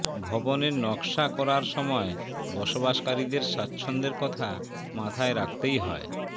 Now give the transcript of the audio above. ভবনের নকশা করার সময় বসবাসকারীদের স্বাচ্ছন্দ্যের কথা মাথায় রাখতেই হয়